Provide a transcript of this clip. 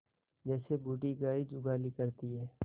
जैसे बूढ़ी गाय जुगाली करती है